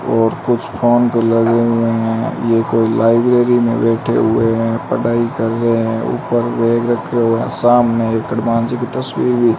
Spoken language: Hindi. और कुछ फोन पे लगे हुए हैं ये कोई लाइब्रेरी में बैठे हुए हैं पढ़ाई कर रहे हैं ऊपर बैग रखे हुए सामने एक हनुमान जी की तस्वीर भी--